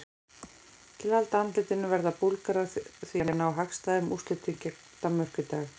Til að halda andlitinu verða Búlgarar því að ná hagstæðum úrslitum gegn Danmörku í dag.